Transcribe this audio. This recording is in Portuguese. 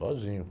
Sozinho.